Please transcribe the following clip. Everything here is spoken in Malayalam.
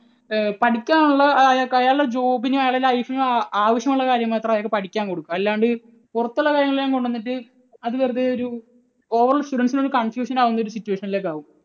ഏർ പഠിക്കാനുള്ള, അയാളുടെ job നും അയാളുടെ life നും ആവശ്യമുള്ള കാര്യം മാത്രം അയാൾക്ക് പഠിക്കാൻ കൊടുക്കുക. അല്ലാണ്ട് പുറത്തുള്ള കാര്യങ്ങളെല്ലാം കൊണ്ടുവന്നിട്ട് അത് വെറുതെ ഒരു overall students ന് ഒരു confusion ആകുന്ന situation ലേക്ക് ആകും.